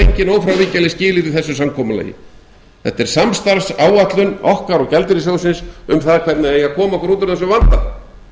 engin ófrávíkjanleg skilyrði í þessu samkomulagi þetta er samstarfsáætlun okkar og gjaldeyrissjóðsins um það hvernig eigi að koma okkur út úr þessum vanda